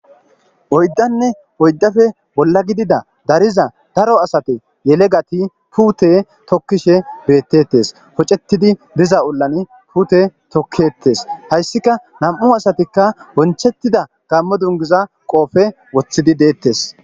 oyddanne oyddafe bolla gidida dariza daro asate yelegati pute tokkishe beettettes pocetidi diza ollan pute tokketes hayssika nam7u asatikka wonchettida gammo dungiza qoofe woththidi deettes